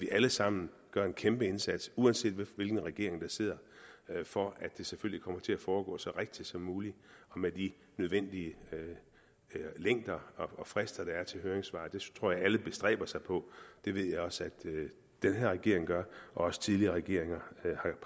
alle sammen gøre en kæmpe indsats uanset hvilken regering der sidder for at det selvfølgelig kommer til at foregå så rigtigt som muligt og med de nødvendige længder og frister der er til høringssvar det tror jeg alle bestræber sig på det ved jeg også at den her regering gør og også tidligere regeringer